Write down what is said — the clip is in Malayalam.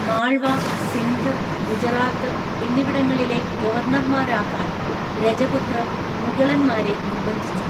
മാൾവ, സിന്ധ്, ഗുജറാത്ത് എന്നിവിടങ്ങളിലെ ഗവർണർമാരാക്കാൻ രജപുത്രർ മുഗളന്മാരെ നിർബന്ധിച്ചു.